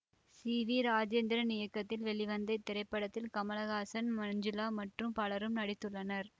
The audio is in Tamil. சி வி ராஜேந்திரன் இயக்கத்தில் வெளிவந்த இத்திரைப்படத்தில் கமல ஹாசன் மஞ்சுளா மற்றும் பலரும் நடித்துள்ளனர்